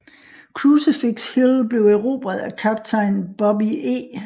Crucifix Hill blev erobret af kaptajn Bobbie E